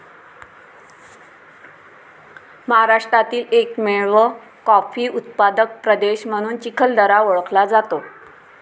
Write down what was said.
महाराष्ट्रातील एकमेव कॉफी उत्पादक प्रदेश म्हणून चिखलदरा ओळखला जातो.